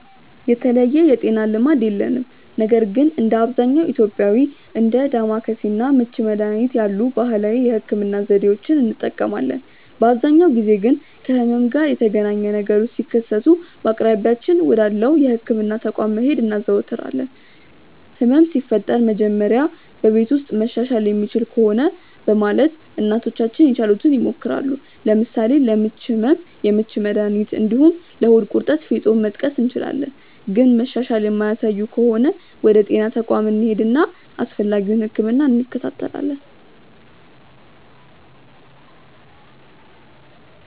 የተለየ የጤና ልማድ የለንም ነገር ግን እንደ አብዛኛው ኢትዮጵያዊ እንደ ዳማከሴ እና ምች መድሀኒት ያሉ ባህላዊ የህክምና ዘዴዎችን እንጠቀማለን። በአብዛኛው ጊዜ ግን ከህመም ጋር የተገናኘ ነገሮች ሲከሰቱ በአቅራቢያችን ወዳለው የህክምና ተቋም መሄድ እናዘወትራለን። ህመም ሲፈጠር መጀመሪያ በቤት ውስጥ መሻሻል የሚችል ከሆነ በማለት እናቶቻችን የቻሉትን ይሞክራሉ። ለምሳሌ ለምች ህመም የምች መድሀኒት እንዲሁም ለሆድ ቁርጠት ፌጦን መጥቀስ እንችላለን። ግን መሻሻል የማያሳዩ ከሆነ ወደ ጤና ተቋም እንሄድና አስፈላጊውን ህክምና እንከታተላለን።